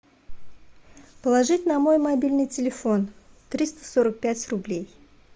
положить на мой мобильный телефон триста сорок пять рублей